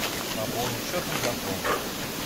пополнить счет мегафон